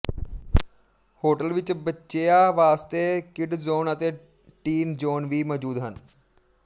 hotel ਵਿੱਚ ਬਚੇਆ ਵਾਸਤੇ ਕਿਡ ਜ਼ੋਨ ਅਤੇ ਟੀਨ ਜੋਨ ਵੀ ਮੋਜੂਦ ਹਨ